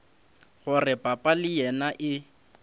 gore papa le yena e